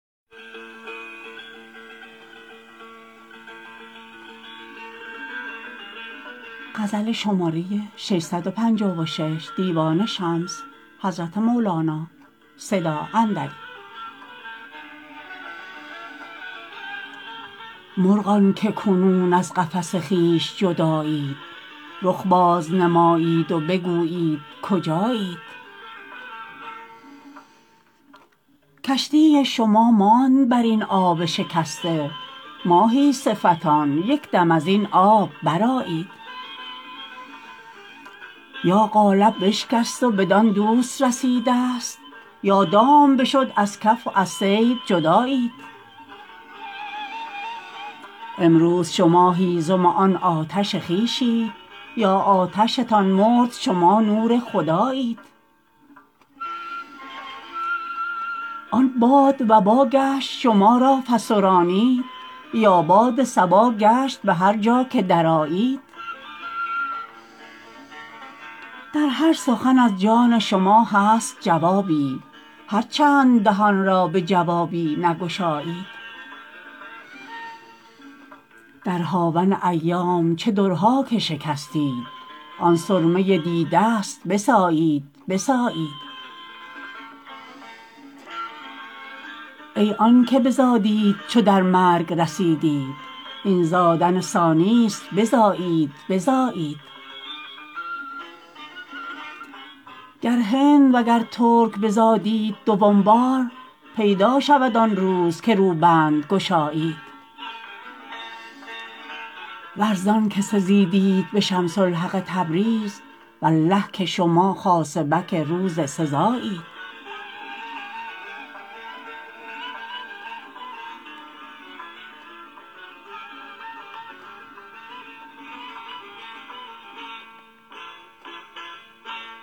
مرغان که کنون از قفس خویش جدایید رخ باز نمایید و بگویید کجایید کشتی شما ماند بر این آب شکسته ماهی صفتان یک دم از این آب برآیید یا قالب بشکست و بدان دوست رسیدست یا دام بشد از کف و از صید جدایید امروز شما هیزم آن آتش خویشید یا آتشتان مرد شما نور خدایید آن باد وبا گشت شما را فسرانید یا باد صبا گشت به هر جا که درآیید در هر سخن از جان شما هست جوابی هر چند دهان را به جوابی نگشایید در هاون ایام چه درها که شکستید آن سرمه دیدست بسایید بسایید ای آنک بزادیت چو در مرگ رسیدید این زادن ثانیست بزایید بزایید گر هند وگر ترک بزادیت دوم بار پیدا شود آن روز که روبند گشایید ور زانک سزیدیت به شمس الحق تبریز والله که شما خاصبک روز سزایید